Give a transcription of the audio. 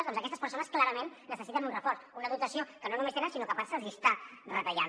doncs aquestes persones clarament necessiten un reforç una dotació que no només no tenen sinó que en part se’ls hi està retallant